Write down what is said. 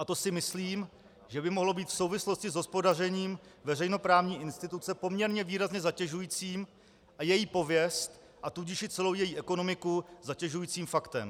A to si myslím, že by mohlo být v souvislosti s hospodařením veřejnoprávní instituce poměrně výrazně zatěžujícím a její pověst, a tudíž i celou její ekonomiku zatěžujícím faktem.